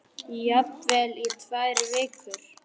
Og það hefur ekkert breyst.